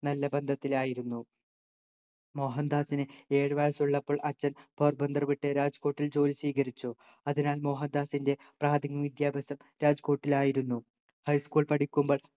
നല്ല ബന്ധത്തിലായിരുന്നു മോഹൻദാസിനെ ഏഴു വയസ്സുള്ളപ്പോൾ അച്ഛൻ പോർബന്തർ വിട്ട് രാജ്കോട്ടിൽ ജോലി സ്വീകരിച്ചു അതിനാൽ മോഹൻദാസിൻ്റെ പ്രാഥമിക വിദ്യാഭ്യാസം രാജ്കോട്ടിൽ ആയിരുന്നു high school പഠിക്കുമ്പോൾ